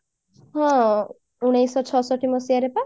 ହଁ ଉଣେଇଶିଶହ ଛଷଠି ମସିହାରେ ପା